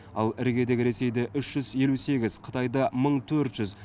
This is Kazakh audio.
ал іргедегі ресейде үш жүз елу сегіз қытайда мың төрт жүз